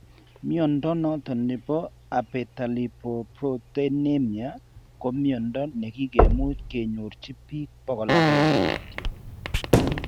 Mnyondo noton nebo Abetalipoproteinemia ko mnyondo nekike much ke nyorchi biik 100 kityo